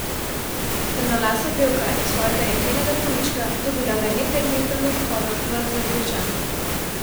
Temnolasa pevka je svojega jeklenega konjička dobila le nekaj dni pred odhodom v Azerbajdžan.